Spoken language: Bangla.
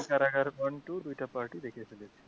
কারাগার one two দুইটা part ই দেখে ফেলেছি।